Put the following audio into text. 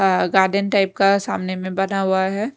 अह garden type का सामने में बना हुआ है।